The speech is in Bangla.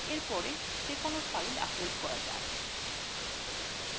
এর পরে কোনো file upload করা যাক